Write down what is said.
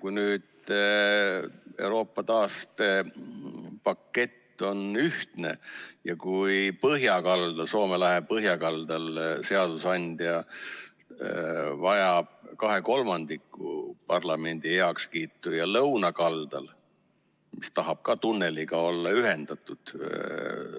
Kui Euroopa taastepakett on ühine ja kui Soome lahe põhjakaldal seadusandja vajab kahe kolmandiku parlamendiliikmete heakskiitu, aga lõunakaldal, neil, kes tahavad olla tunneli kaudu